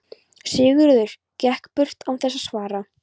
Sigurður gekk burt án þess að svara.